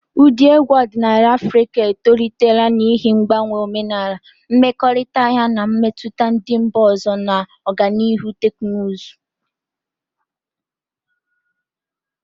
Ụda egwu ọdịnala Afrịka etolitela n'ihi mgbanwe omenala, mmekọrịta ya na mmetụta ndị mba ọzọ, na ọganihu teknụzụ.